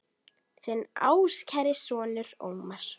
Þinn ástkæri sonur, Ómar.